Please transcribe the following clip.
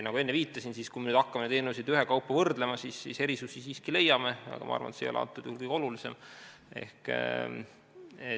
Nagu enne viitasin, kui me nüüd hakkame eelnõusid ühekaupa võrdlema, siis erinevusi siiski leiame, aga ma arvan, et see ei ole antud juhul kõige olulisem.